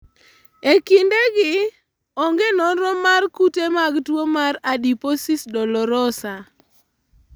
E kindegi, onge nonro mar kute mag tuwo mar adiposis dolorosa.